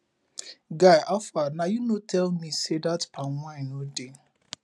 guy howfar na you no tell me say that palm wine no dey